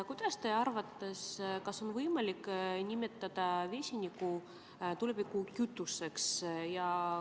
Kuidas teie arvate, kas on võimalik nimetada vesinikku tulevikukütuseks?